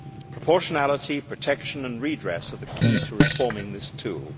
Proportionality, protection and redress are the key to reforming this tool.